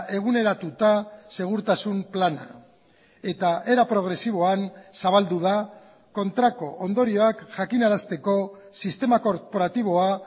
eguneratuta segurtasun plana eta era progresiboan zabaldu da kontrako ondorioak jakinarazteko sistema korporatiboa